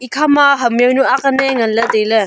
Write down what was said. ekha ma ham jawnu ang lan ley ngan ley tai ley.